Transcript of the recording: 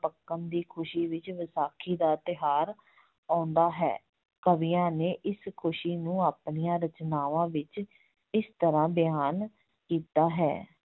ਪੱਕਣ ਦੀ ਖੁਸੀ ਵਿੱਚ ਵਿਸਾਖੀ ਦਾ ਤਿਉਹਾਰ ਆਉਂਦਾ ਹੈ, ਕਵੀਆਂ ਨੇ ਇਸ ਖੁਸੀ ਨੂੰ ਆਪਣੀਆਂ ਰਚਨਾਵਾਂ ਵਿੱਚ ਇਸ ਤਰ੍ਹਾਂ ਬਿਆਨ ਕੀਤਾ ਹੈ,